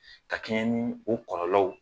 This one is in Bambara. Ka kɛncɛn ni o kɔlɔlɔw